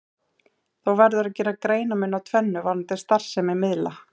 Þó verður að gera greinarmun á tvennu varðandi starfsemi miðla.